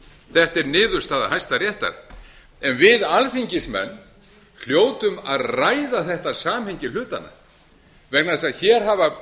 þetta er niðurstaða hæstaréttar en við alþingismenn hljótum að ræða þetta samhengi hlutanna vegna þess að hér hafa